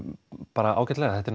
bara ágætlega þetta